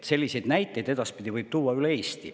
Selliseid näiteid võib edaspidi tuua üle Eesti.